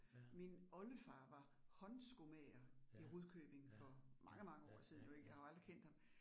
Ja. Ja, ja ja ja ja ja